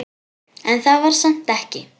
En það var samt ekki.